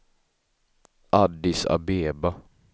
Addis Abeba